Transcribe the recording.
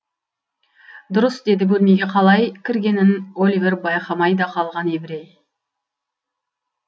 дұрыс деді бөлмеге қалай кіргенін оливер байқамай да қалған еврей